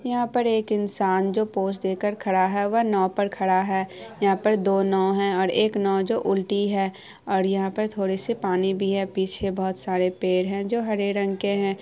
यहां पर एक इंसान जो पोज़ देकर खड़ा है जो नाव पर खड़ा है यहां पर दो नाव है और एक नाव जो उलटी है और यहां पे थोड़े से पानी भी हैपीछे बहुत सारे पेड़ हैजो हरे रंग है ।